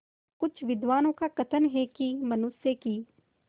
कुछ विद्वानों का कथन है कि मनुष्य की